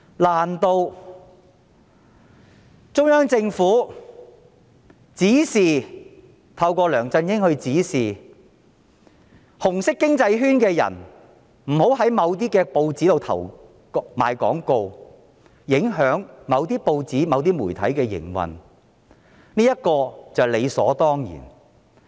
難道中央政府透過梁振英指示"紅色經濟圈"的人不要在某些報紙裏賣廣告，影響某些報紙、某些媒體的營運，就是理所當然？